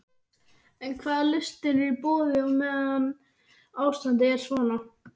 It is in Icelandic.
En hvaða lausnir eru í boði á meðan ástandið er svona?